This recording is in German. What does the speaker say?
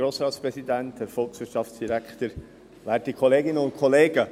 Kommissionssprecher der FiKo.